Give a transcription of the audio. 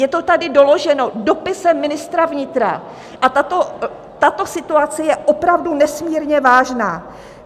Je to tady doloženo dopisem ministra vnitra a tato situace je opravdu nesmírně vážná.